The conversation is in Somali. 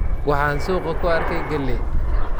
Waxaan suuqa ku arkay galley.